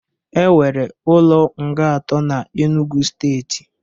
E were ụlo nga atọ na Enụgwụ steetị